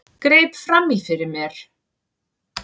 Greip fram í fyrir mér.